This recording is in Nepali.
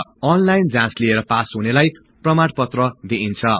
अनलाईल जाचँ लिएर पास हुनेलाई प्रमाणपत्र दिईन्छ